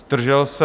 Zdržel se?